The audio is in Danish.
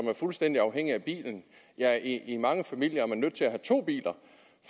er fuldstændig afhængige af i mange familier er man nødt til at have to biler